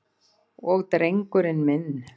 Og drengurinn minn.